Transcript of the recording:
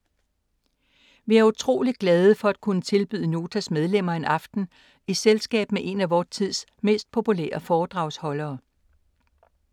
Vi er utroligt glade for at kunne tilbyde Notas medlemmer en aften i selskab med en af vor tids mest populære foredragsholdere.